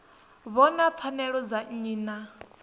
vhona pfanelo dza nnyi na